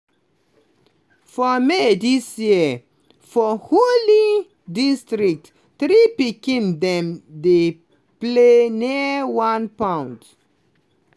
for may dis year for hooghly district three pikin dem dey play near one pond